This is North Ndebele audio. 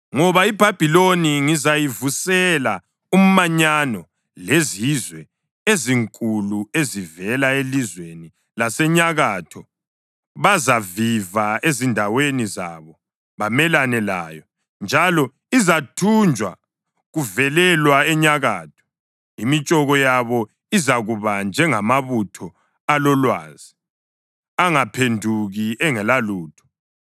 Ngoba iBhabhiloni ngizayivusela umanyano lwezizwe ezinkulu ezivela elizweni lasenyakatho. Bazaviva ezindaweni zabo bamelane layo. Njalo izathunjwa kuvelelwa enyakatho. Imitshoko yabo izakuba njengamabutho alolwazi angaphenduki engelalutho.